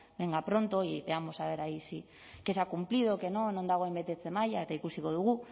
venga pronto y veamos a ver ahí qué se ha cumplido qué no non dagoen betetze maila eta ikusiko dugu